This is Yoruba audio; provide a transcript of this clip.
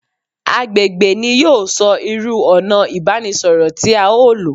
Agbègbè ni yóò sọ irú ònà ìbánisọ̀rọ̀ tí à o lò